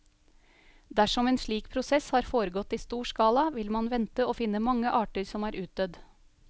Dersom en slik prosess har foregått i stor skala, vil man vente å finne mange arter som er utdødd.